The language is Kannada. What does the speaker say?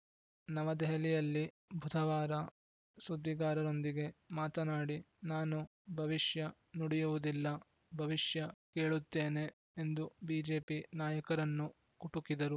ನವದೆಹಲಿಯಲ್ಲಿ ಬುಧವಾರ ಸುದ್ದಿಗಾರರೊಂದಿಗೆ ಮಾತನಾಡಿ ನಾನು ಭವಿಷ್ಯ ನುಡಿಯುವುದಿಲ್ಲ ಭವಿಷ್ಯ ಕೇಳುತ್ತೇನೆ ಎಂದು ಬಿಜೆಪಿ ನಾಯಕರನ್ನು ಕುಟುಕಿದರು